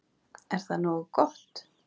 En er það nógu gott?